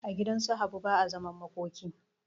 A gidansu habu ba a zaman makoki